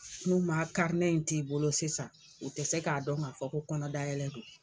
N'u ma in t'i bolo sisan u tɛ se k'a dɔn ŋa fɔ ko kɔnɔdayɛlɛ don.